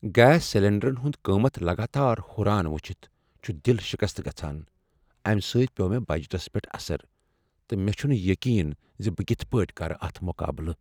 Gas سلنڈرن ہنٛد قۭمتھ لگاتار ہُران وُچھتھ چھُ دِل شِكستہٕ گژھان ۔امہ سۭتۍ پیوٚو مےٚ بجٹس پٮ۪ٹھ اثر، تہٕ مےٚ چھُنہٕ یقین زِ بہٕ کتھ پٲٹُھۍ کرٕ اتھ مقابلہٕ۔